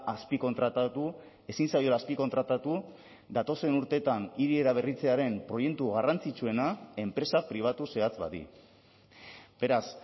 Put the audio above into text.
azpikontratatu ezin zaiola azpikontratatu datozen urteetan hiri eraberritzearen proiektu garrantzitsuena enpresa pribatu zehatz bati beraz